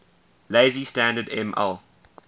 lazy standard ml